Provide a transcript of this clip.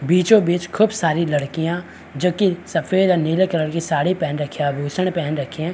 बीचो बिच खूब सारी लड़कियाँ जो की सफ़ेद और नीले कलर की साड़ी पहन रखी है आभूषण पहन रखे हैं।